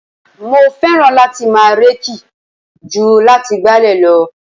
Mo fẹ́ràn láti máa reeki ju láti gbálẹ̀ lọ.